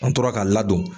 An tora ka ladon